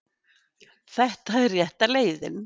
Þetta er rétta leiðin